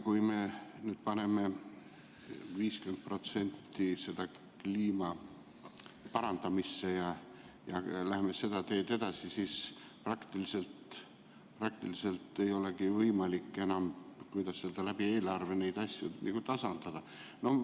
Kui me nüüd paneme 50% kliima parandamisse ja läheme seda teed edasi, siis praktiliselt ei olegi võimalik enam, kuidas öelda, eelarve kaudu neid asju tasandada.